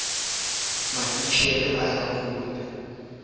o e filweng potsong ka